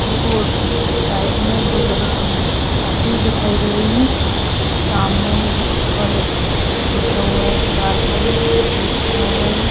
ये रोड की साइड में दो लड़कियां जाती दिखाई दे रही है सामने मेडिकल कॉलेज लिखा हुआ है दीवार पर ये गेट बना हुआ है।